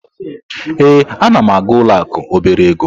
Ee, a na m aga ụlọ akụ obere ego.